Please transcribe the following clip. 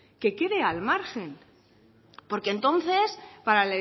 que quede al margen porque entonces para